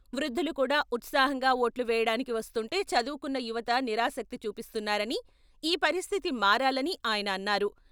వృద్ధులు కూడా ఉత్సాహంగా ఓట్లు వేయడానికి వస్తుంటే చదువుకున్న యువత నిరాసక్తి చూపిస్తున్నారని ఈ పరిస్థితి మారాలని ఆయన అన్నారు.